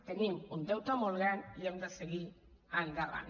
tenim un deute molt gran i hem de seguir endavant